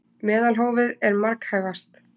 Meðalhófið er marghæfast.